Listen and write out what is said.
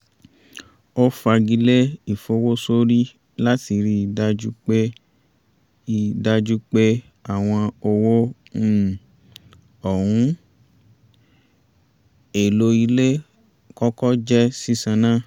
ó fagilé ìfowósórí láti rí i dájú pé i dájú pé àwọn owó um ohun èlò ilé kọ́kọ́ jẹ́ sísan ná